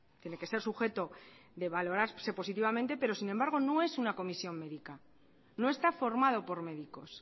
tiene que ser sujeto de valorarse positivamente pero sin embargo no es una comisión médica no está formado por médicos